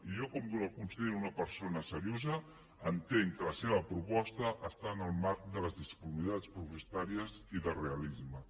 jo com que el considero una persona seriosa entenc que la seva proposta està en el marc de les disponibilitats pressupostàries i del realisme